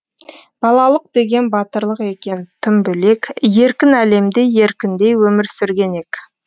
балалық деген батырлық екен тым бөлек еркін әлемде еркіндей өмір сүрген ек